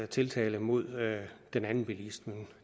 tiltale mod den anden bilist men